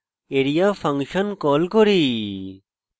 area function call করি